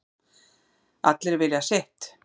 Allir vilja sitt